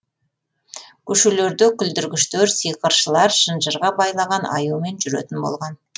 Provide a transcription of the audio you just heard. көшелерде күлдіргіштер сиқыршылар шынжырға байлаған аюмен жүретін болған